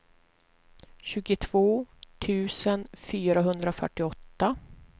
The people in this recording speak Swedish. tjugotvå tusen fyrahundrafyrtioåtta